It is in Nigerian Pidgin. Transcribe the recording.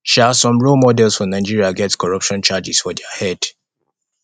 um some role models for nigeria get corruption charges for their head